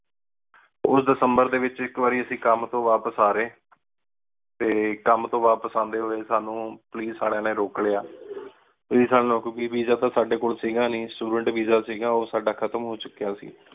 ਉਸ ਦਿਸੰਬਰ ਡੀ ਵਿਚ ਇਕ ਵਾਰੀ ਅੱਸੀ ਕਮ ਤੋ ਵਾਪਿਸ ਆ ਰਏ ਤੇ ਕਮ ਤੋ ਵਾਪਿਸ ਆਂਡੀ ਹੋਏ ਸਾਨੂ ਪੁਲਿਸ ਆਲੇ ਨੇ ਰੋਕ ਲਿਆ। ਵੀਸਾ ਤੇ ਸਾਡੇ ਕੋਲ ਸੀ ਗਾ ਨੀ student visa ਸੀ ਗਾ ਓਹ ਸਦਾ ਖਤਮ ਹੋ ਚੁਕਿਆ ਸੀ